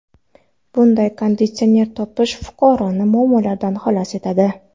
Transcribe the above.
Bunday konditsioner topish fuqaroni muammolardan xalos etadi.